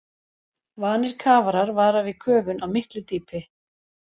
Vanir kafarar vara við köfun á miklu dýpi.